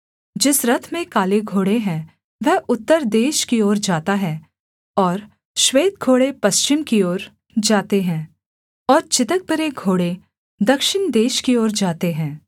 जिस रथ में काले घोड़े हैं वह उत्तर देश की ओर जाता है और श्वेत घोड़े पश्चिम की ओर जाते है और चितकबरे घोड़े दक्षिण देश की ओर जाते हैं